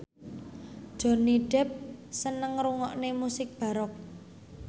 Johnny Depp seneng ngrungokne musik baroque